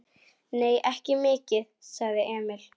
Nei, ekki mikið, sagði Emil.